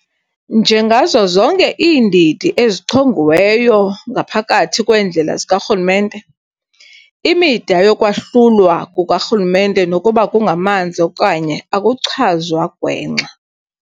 Njengazo zonke iindidi ezichongiweyo ngaphakathi kweendlela zikarhulumente, imida yokwahlulwa kukarhulumente nokuba kungamanzi okanye akuchazwa gwenxa.